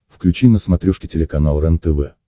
включи на смотрешке телеканал рентв